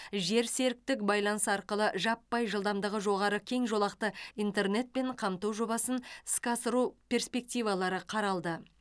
жерсеріктік байланыс арқылы жаппай жылдамдығы жоғары кең жолақты интернетпен қамту жобасын іске асыру перспективалары қаралды